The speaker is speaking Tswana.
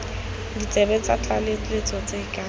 ditsebe tsa tlaleletso tse ka